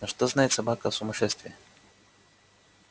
но что знает собака о сумасшествии